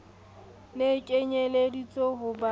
ne e kenyelleditswe ho ba